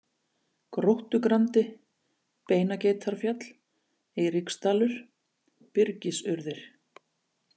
Gróttugrandi, Beinageitarfjall, Eiríksdalur, Byrgisurðir